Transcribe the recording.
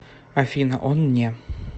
афина он не